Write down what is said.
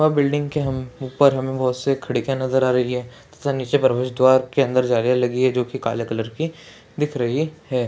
यह बिल्डिंग के हम ऊपर हमें बहोत से खिड़कियाँ नजर आ रही हैं जिसमें परवेश द्वार के अंदर जालियाँ लगी है जो की काले कलर की दिख रही है।